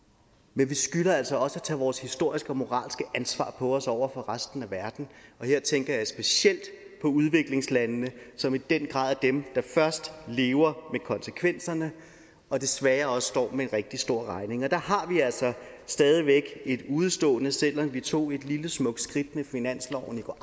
men vi skylder altså også at tage vores historiske og moralske ansvar på os over for resten af verden her tænker jeg specielt på udviklingslandene som i den grad er dem der først lever med konsekvenserne og desværre også står med en rigtig stor regning der har vi altså stadig væk et udestående selv om vi tog et lille smukt skridt med finansloven i går